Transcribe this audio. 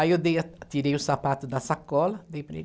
Aí eu dei a, tirei o sapato da sacola, dei para ele.